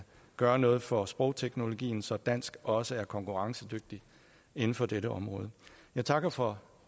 gøre noget for sprogteknologien så dansk også er konkurrencedygtigt inden for dette område jeg takker for